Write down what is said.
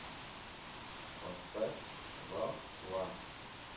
поставь ла ла